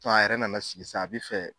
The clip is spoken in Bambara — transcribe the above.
a yɛrɛ nana sigi sisan a bɛ fɛ.